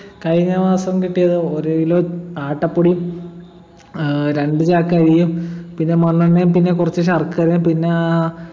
കഴിഞ്ഞമാസം കിട്ടിയത് ഒരു kilo ആട്ടപ്പൊടിയും ഏർ രണ്ട് ചാക്കരിയും പിന്നെ മണ്ണെണ്ണയും പിന്നെക്കുറച്ച് ശർക്കരെ പിന്നാ